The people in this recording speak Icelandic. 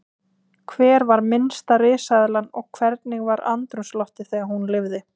Hver var minnsta risaeðlan og hvernig var andrúmsloftið þegar hún lifði?